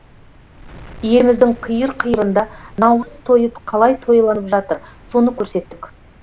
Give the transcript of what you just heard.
еліміздің қиыр қиырында наурыз тойы қалай тойланып жатыр соны көрсеттік